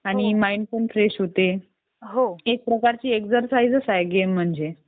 आणि माईंड पण फ्रेश होते. ही एक प्रकारची एक्सरसाइजच आहे गेम म्हणजे